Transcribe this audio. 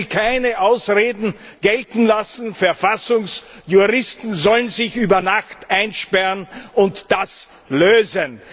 Und ich will keine Ausreden gelten lassen Verfassungsjuristen sollen sich über Nacht einsperren und das lösen.